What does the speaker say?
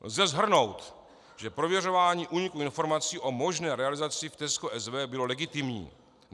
Lze shrnout, že prověřování úniku informací o možné realizaci v TESCO SW bylo legitimní.